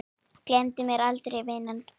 Gleymdu mér aldrei vina mín.